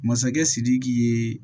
Masakɛ sidiki ye